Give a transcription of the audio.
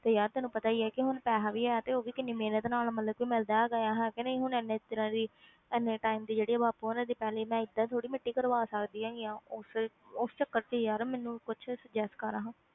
ਤੇ ਯਾਰ ਤੈਨੂੰ ਪਤਾ ਹੀ ਹੈ ਕਿ ਵੀ ਹੁਣ ਪੈਸਾ ਵੀ ਹੈ ਤੇ ਉਹ ਵੀ ਕਿੰਨੀ ਮਿਹਨਤ ਨਾਲ ਮਤਲਬ ਕਿ ਮਿਲਦਾ ਹੈਗਾ ਆ, ਹੈ ਕਿ ਨਹੀਂ ਹੁਣ ਇੰਨੇ ਦਿਨਾਂ ਦੀ ਇੰਨੇ time ਦੀ ਜਿਹੜੀ ਆ ਬਾਪੂ ਹੋਣਾ ਦੀ ਪੈਲੀ ਮੈਂ ਏਦਾਂ ਥੋੜ੍ਹੀ ਕਰਵਾ ਸਕਦੀ ਹੈਗੀ ਹਾਂ, ਉਸ ਉਸ ਚੱਕਰ ਵਿੱਚ ਯਾਰ ਮੈਨੂੰ ਕੁਛ suggest ਕਰ ਹਾਂ।